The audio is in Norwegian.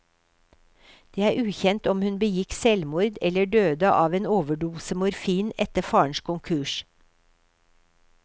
Det er ukjent om hun begikk selvmord eller døde av en overdose morfin etter farens konkurs.